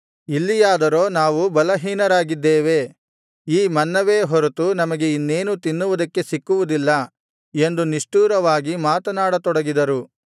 ಇಲ್ಲಿಯಾದರೋ ನಾವು ಬಲಹೀನರಾಗಿದ್ದೇವೆ ಈ ಮನ್ನವೇ ಹೊರತು ನಮಗೆ ಇನ್ನೇನೂ ತಿನ್ನುವುದಕ್ಕೆ ಸಿಕ್ಕುವುದಿಲ್ಲ ಎಂದು ನಿಷ್ಠುರವಾಗಿ ಮಾತನಾಡ ತೊಡಗಿದರು